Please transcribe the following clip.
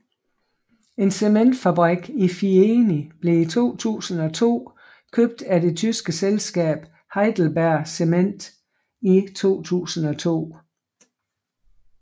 En cementfabrik i Fieni blev i 2002 købt af det tyske selskab HeidelbergCement i 2002